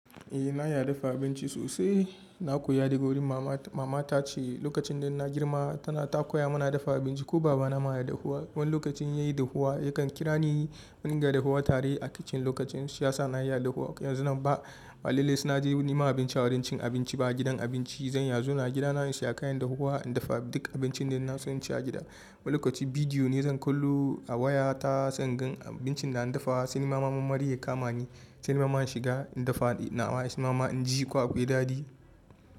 Eh na iya dafa abinci sosai. Na koya daga wurin mama. Mama ta ce lokacin da na girma tana takura muna dafa abinci ko baba na ma ya iya dafuwa. Wani lokacin in yayi dafuwa yakan kira ni mu dunga dafuwa tare a kicin. Lokacin shiyasa na iya dahuwa. Yanzu nan ba, ba lallai sai na je neman abinci a wurin cin abinci ba a gidan abinci zan iya zauna gida na in siya kayan dafuwa in dafa duk abincin da ina son ci a gida. Wani lokaci bidiyo ne zan kallo a waya ta sai in gan abincin da ana dafawa sai nima ma marmari ya kama ni sai na shiga in dafa nawa shima ma in ji akwai daɗi.